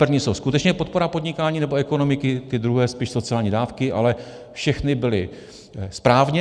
První jsou skutečně podpora podnikání nebo ekonomiky, ty druhé spíš sociální dávky, ale všechny byly správně.